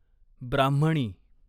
ब्राह्मणी